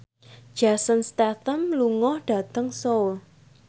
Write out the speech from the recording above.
Jason Statham lunga dhateng Seoul